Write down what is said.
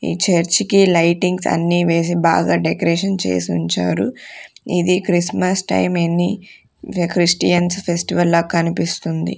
ఈ చర్చికి లైటింగ్స్ అన్నీ వేసి బాగా డెకరేషన్ చేసుంచారు ఇది క్రిస్మస్ టైం ఎనీ ద క్రిస్టియన్ ఫెస్టివల్ లా కనిపిస్తుంది.